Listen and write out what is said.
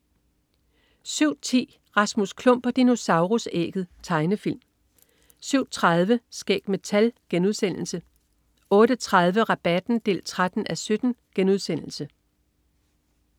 07.10 Rasmus Klump og dinosaurus-ægget. Tegnefilm 07.30 Skæg med tal* 08.30 Rabatten 13:17*